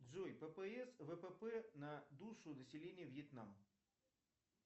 джой ппс впп на душу населения вьетнам